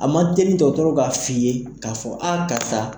A man teli dɔgɔtɔrɔ k'a f' i ye k'a fɔ aa karisa.